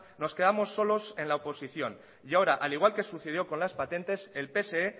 nos quedamos solos en la oposición y ahora al igual que sucedió con las patentes el pse